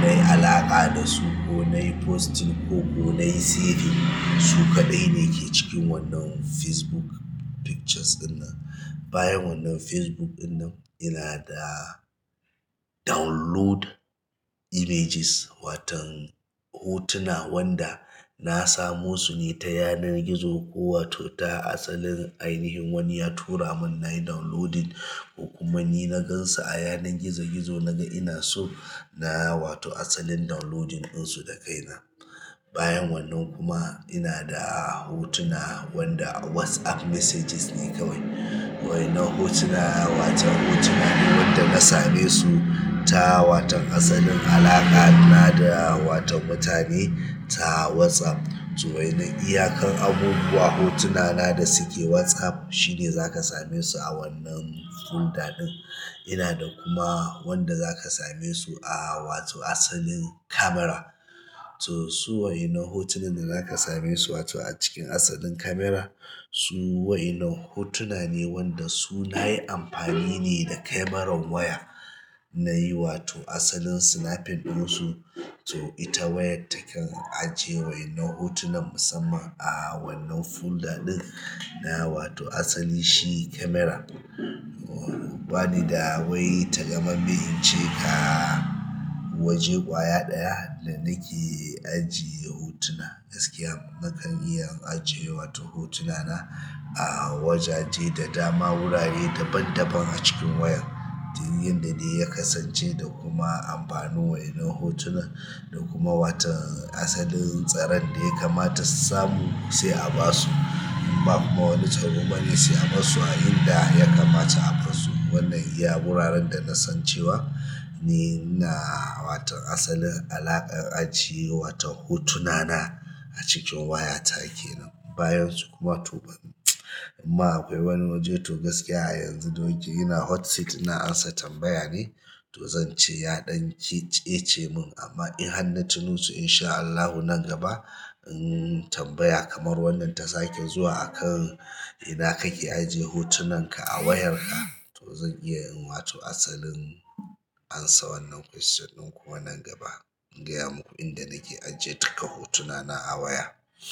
na yi alaƙa da su ko na yi posting ko ko na yi saving. Su kaɗai ne ke cikin wannan Facebook pictures ɗinnan. Bayan wannan Facebook ɗinnan, ina da download images, watan hotuna wanda na samo su ne ta yanar gizo ko wato ta asalin ainihin wani ya tura mun na yi downloading ko kuma ni na gan su a yanar gizo gizo na ga ina so na yi wato asalin downloading ɗinsu da kai na. Bayan wannan kuma ina da hotuna wanda WhatsApp messages ne kawai. Wa'innan hotuna waton hotuna ne wanda na same su ta waton asalin alaƙa na da waton mutane ta WhatsApp. To wa'innan iyakan abubuwa hotuna na da suke WhatsApp sune zaka same su a wannan folder ɗin ina da kuma wanda za ka same su a wato asalin camera. To su wa'innan hotunan da za ka same su wato a cikin asalin camera, su wa'innan hotuna ne wanda su na yi amfani ne da cameran waya na yi wato asalin snapping ɗinsu. To ita wayar taken ajiye wa'innan hotunan musamman a wannan folder ɗin na wato asali shi camera. Ba ni da wai takamamme in ce ka waje ƙwaya ɗaya da nake ajiye hotuna. Gaskiya nakan iya ajiye wato hotuna na a wajaje da dama wurare daban daban a cikin wayar, duk yanda dai ya kasance da kuma amfanin wa'innan hotunan da kuma watan asalin tsaron da ya kamata samu sai a ba su in ba kuma wani tsaro bane sai a barsu a inda ya kamata a barsu. Wannan iya wuraren da na san cewa ni ina waton asalin alaƙar ajiye waton hotuna na a cikin waya ta kenan. Bayansu kuma to ia akwai wani waje to gaskiya a yanzu doki ina hot seat ina amsa tambaya ne, to zan ce ya ɗan tsece mun amma in har na tuno su insha Allahu nan gaba in tambaya kamar wannan ta sake zuwa akan ina kake ajiye hotunan ka a wayar ka, to zan iya in wato asalin amsa wannan question ɗin kuwa nan gaba. In gaya muku inda nake ajiyar duka hotuna na a waya.